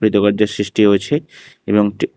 কৃতকার্যের সৃষ্টিও হয়েছে এবং একটি--